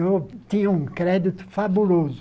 Eu tinha um crédito fabuloso.